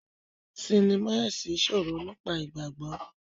Sinima ẹsìn sọrọ nípa ìgbàgbọ.